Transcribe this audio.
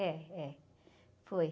É, é, foi.